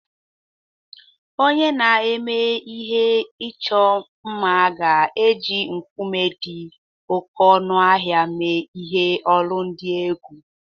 Onye na-eme ihe ịchọ mma ga-eji nkume dị oké ọnụ ahịa mee ihe olu dị egwu.